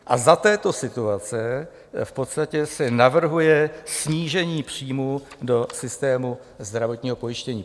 A za této situace v podstatě se navrhuje snížení příjmů do systému zdravotního pojištění.